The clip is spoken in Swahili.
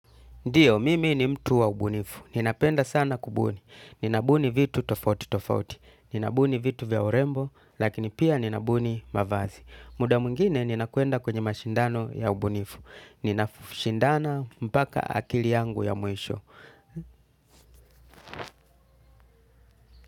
Ndiyo mimi ni mtu wa ubunifu. Ninapenda sana kubuni. Ninabuni vitu tofauti tofauti. Ninabuni vitu vya urembo, lakini pia ninabuni mavazi. Muda mwingine, ninakwenda kwenye mashindano ya ubunifu. Ninashindana mpaka akili yangu ya mwisho.